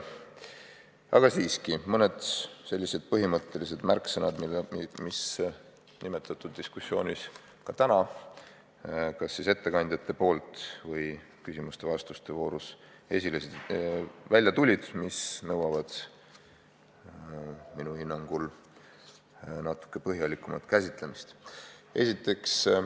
Aga siiski mõned põhimõttelised märksõnad, mis tänases diskussioonis kas ettekannetes või siis küsimuste-vastuste voorus samuti kõlasid, aga mis nõuavad minu hinnangul natuke põhjalikumat käsitlemist.